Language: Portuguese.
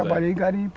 Trabalhei em garimpo.